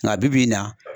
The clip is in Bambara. Nka bibi in na